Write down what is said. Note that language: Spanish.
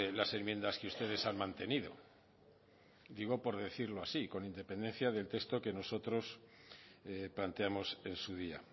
las enmiendas que ustedes han mantenido digo por decirlo así con independencia del texto que nosotros planteamos en su día